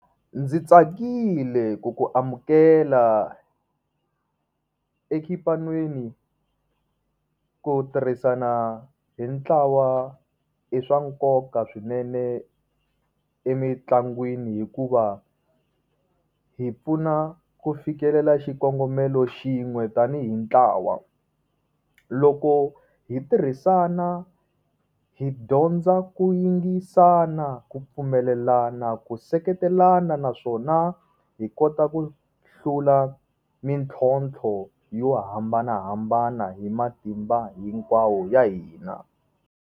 Ndzi tsakile ku ku amukela exipan'weni. Ku tirhisana hi ntlawa i swa nkoka swinene emintlangwini hikuva hi pfuna ku fikelela xikongomelo xin'we tanihi ntlawa. Loko hi tirhisana hi dyondza ku yingisana, ku pfumelelana, ku seketelana, naswona hi kota ku hlula mintlhontlho yo hambanahambana hi matimba hinkwawo ya hina.